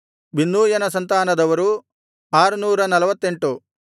ಬಿನ್ನೂಯನ ಸಂತಾನದವರು 648